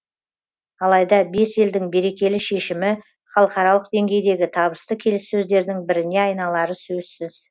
алайда бес елдің берекелі шешімі халықаралық деңгейдегі табысты келіссөздердің біріне айналары сөзсіз